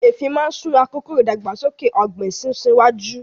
Eefin máa ń sún àkókò ìdàgbàsókè ọ̀gbìn sún síwájú